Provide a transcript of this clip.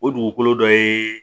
O dugukolo dɔ ye